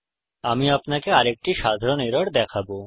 আমি আপনাকে আরেকটি সাধারণ এরর দেখাবো